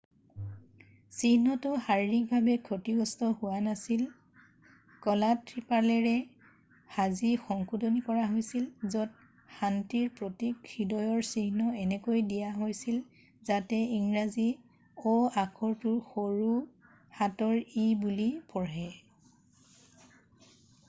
"চিহ্নটো শাৰীৰিকভাৱে ক্ষতিগ্ৰস্ত হোৱা নাছিল; কলা ত্ৰিপালেৰে সাজি সংশোধনী কৰা হৈছিল য'ত শান্তিৰ প্ৰতীক হৃদয়ৰ চিহ্ন এনেকৈ দিয়া হৈছিল যাতে ইংৰাজী "o" আখৰটো সৰু হাতৰ "e" বুলি পঢ়ে।""